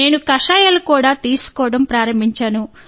నేను కషాయాలను కూడా తీసుకోవడం ప్రారంభించాను